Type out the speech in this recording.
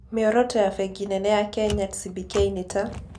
Mĩoroto ya Bengi nene ya Kenya (CBK) nĩ ta: